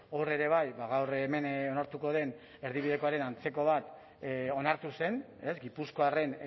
hor ere bai gaur hemen onartuko den erdibidekoaren antzeko bat onartu zen gipuzkoarren